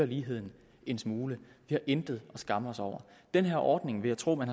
ligheden en smule vi har intet at skamme os over den her ordning vil jeg tro at man